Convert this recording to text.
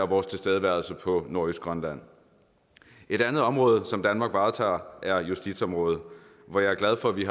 vores tilstedeværelse på nordøstgrønland et andet område som danmark varetager er justitsområdet hvor jeg er glad for at vi